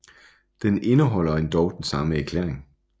Den indeholder endog den samme erklæring